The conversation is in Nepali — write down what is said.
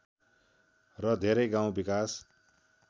र धेरै गाउँ विकास